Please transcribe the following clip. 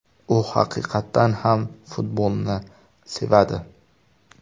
U haqiqatan ham futbolni sevadi.